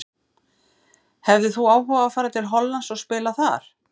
Hefðir þú áhuga á að fara til Hollands og spila þar?